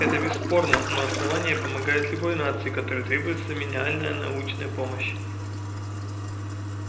это бесспорно но основание помогает любой нации которой требуется минимальная научная помощь